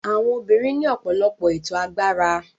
Àwọn obìnrin ní ọ̀pọ̀lọpọ̀ ètò agbára.